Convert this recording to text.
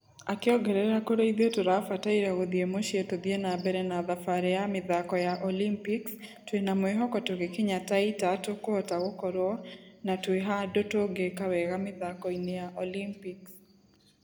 Akĩongerera kũrĩ ithuĩ tũrabataire gũthie mũciĩ tũthie na mbere na thabarĩ ya mĩthako ya olympics twĩnamwĩhoko tũgĩkinya taita tũkũhota gũkorwo ....na twĩhandũ tũngĩĩka wega mĩthako-inĩ ya olympics.